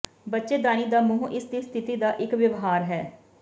ਬੱਚੇਦਾਨੀ ਦਾ ਮੂੰਹ ਇਸ ਦੀ ਸਥਿਤੀ ਦਾ ਇੱਕ ਵਿਵਹਾਰ ਹੈ